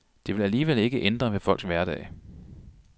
Det vil alligevel ikke ændre ved folks hverdag.